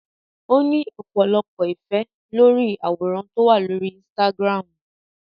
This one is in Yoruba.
Ó ní ọ̀pọ̀lọpọ̀ ìfẹ́ lórí àwòrán tó wà lórí Instagram